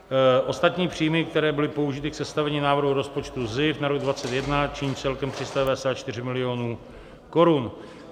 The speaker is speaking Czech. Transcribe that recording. Ostatní příjmy, které byly použity k sestavení návrhu rozpočtu SZIF na rok 2021, činí celkem 394 milionů korun.